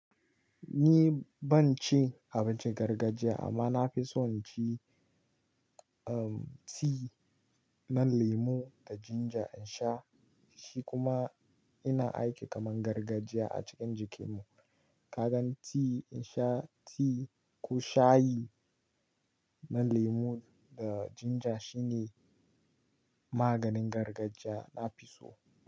Ni ban ci abincin gargajiya ba amma na fi son ci, um, tea na lemo da ginger in sha. Shi kuma yana aiki kamar gargajiya a cikin jikina. Ka gan tea in sha tea ko shayi na lemo da ginger shine maganin gargajiya na fi so.